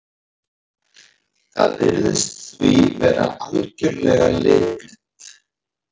Það virðist því vera algjörlega litblint.